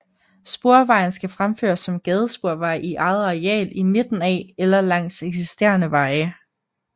Sporvejen skal fremføres som gadesporvej i eget areal i midten af eller langs eksisterende veje